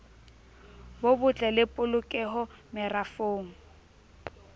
bo botle le polokeho merafong